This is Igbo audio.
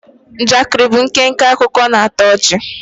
Njakịrị bụ nkenke akụkọ na-atọ ọchị